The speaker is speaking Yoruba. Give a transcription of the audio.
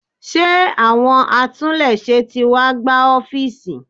Ṣé àwọn atúnléṣe tí wá gbá ọ́fíísì?